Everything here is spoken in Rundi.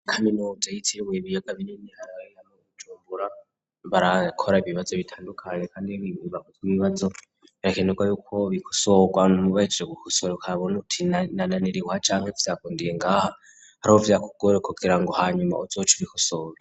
Ikaminuza yitiruye ibiyaga binini hae ariugucumbura barakora ibibazo bitandukanye, kandi ibago vy'imibazo brakenurwa yuko bigosorwa ntumubayejeje gukosora uka buntu utinananiriwa canke vyagundiye ngaha aro vyakugore kugira ngo hanyuma uzoca ubikosora.